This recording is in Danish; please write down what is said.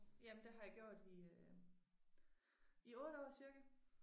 Jamen det har jeg gjort i øh i 8 år cirka